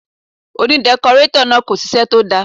Òní dẹkọrétọ̀ náà kò ṣiṣẹ́ tó dáa.